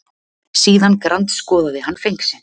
Síðan grandskoðaði hann feng sinn.